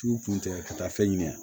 Tu kun tɛ ka taa fɛn ɲini yan